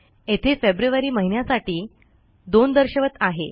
येथे फेब्रुअरी महिन्यासाठी 02 दर्शवत आहे